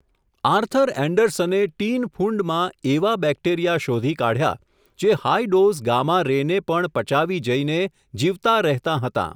Arthur એન્ડરસને tin ફુંડમાં, એવાં બેકેટરીયા શોધી કાઢ્યા, જે હાઈ ડોઝ ગામા રે ને પણ પચાવી જઈને જીવતા રહેતાં હતાં !.